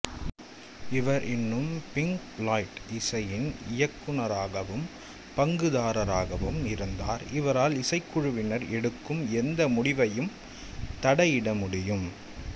இவர் இன்னும் Pink Floyd இசையின் இயக்குனராகவும் பங்குதாரராகவும் இருந்தார் இவரால் இசைக்குழுவினர் எடுக்கும் எந்த முடிவையும் தடையிட முடியும்